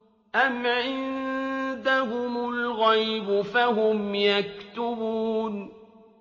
أَمْ عِندَهُمُ الْغَيْبُ فَهُمْ يَكْتُبُونَ